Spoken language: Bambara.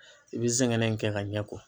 I bi zɛngɛnɛ in kɛ ka ɲɛ ko.